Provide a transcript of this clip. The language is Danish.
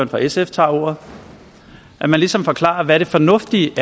for sf tager ordet at man ligesom forklarer hvad det fornuftige